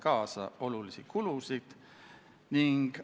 Saame minna lõpphääletuse juurde.